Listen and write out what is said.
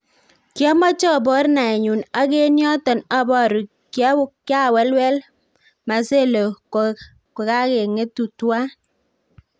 Ki omoche obor naenyun ak en yoton aboru, kiawelwel Marcelo kogageng'etu tuan